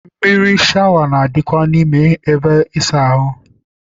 Mmiri shawa na- adịkwa n'ime ebe ịsa ahụ.